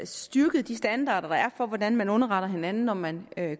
styrket de standarder der er for hvordan man underretter hinanden når man